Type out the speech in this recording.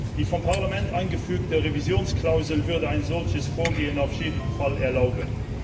Die vom Parlament eingefügte Revisionsklausel würde ein solches Vorgehen auf jeden Fall erlauben.